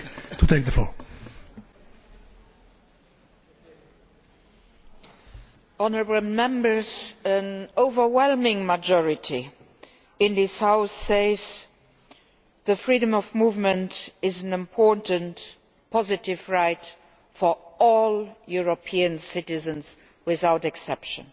Mr President, an overwhelming majority in this House says that freedom of movement is an important positive right for all European citizens without exception.